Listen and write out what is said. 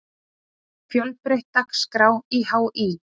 Fjölbreytt dagskrá í HÍ